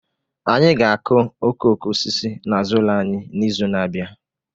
Anyị ga akụ okooko osisi n'azụ ụlọ anyị n'izu n'abia